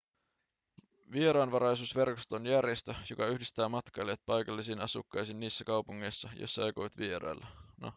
vieraanvaraisuusverkosto on järjestö joka yhdistää matkailijat paikallisiin asukkaisiin niissä kaupungeissa joissa he aikovat vierailla